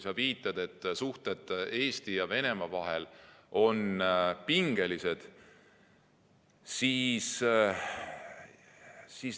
Sa viitasid, et suhted Eesti ja Venemaa vahel on pingelised.